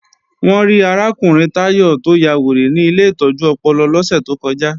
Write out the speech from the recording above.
Wọ́n rí arákùnrin Táyọ̀ tó ya wèrè ní ilé ìtọ́jú ọpọlọ lọ́sẹ̀ tó kọjá